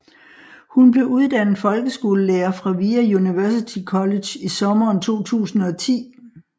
Hun blev uddannet folkeskolelærer fra VIA University College i sommeren 2010